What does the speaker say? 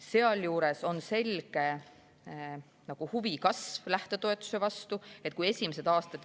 Sealjuures on, et huvi lähtetoetuse vastu selgelt kasvab.